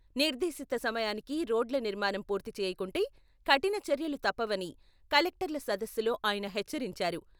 నిర్దేశిత సమయానికి రోడ్ల నిర్మాణం పూర్తి చేయకుంటే కఠిన చర్యలు తప్పవని కలెక్టర్ల సదస్సులో ఆయన హెచ్చరించారు.